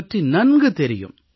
பற்றி நன்கு தெரியும்